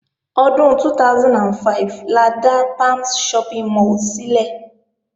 Ọdún 2005 la dá Palms Shopping mall sílẹ̀